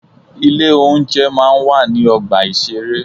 Ilé oúnjẹ máa ń wà ní ọgbà ìṣeré.